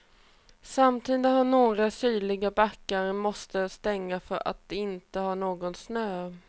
Samtidigt har några sydliga backar måst stänga för att de inte har någon snö.